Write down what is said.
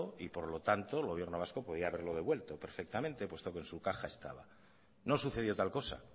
y por lo tanto el gobierno vasco podría haberlo devuelto perfectamente puesto que en su caja estaba no sucedió tal cosa